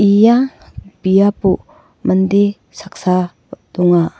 ia biapo mande saksa donga.